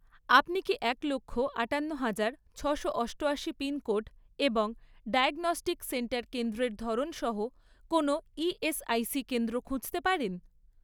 আপনি কি এক লক্ষ, আটান্ন হাজার , ছশো অষ্টআশি পিনকোড এবং ডায়াগনস্টিক সেন্টার কেন্দ্রের ধরন সহ কোনও ইএসআইসি কেন্দ্র খুঁজতে পারেন?